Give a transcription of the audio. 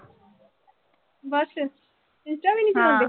ਬਸ insta ਵੀ ਨੀਂ ਚਲਾਉਂਦੇ।